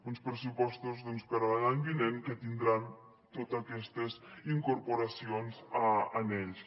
uns pressupostos doncs per a l’any vinent que tindran totes aquestes incorporacions en ells